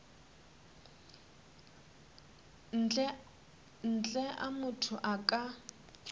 ntle a motho a ka